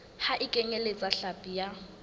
ha e kenyeletse hlapi ya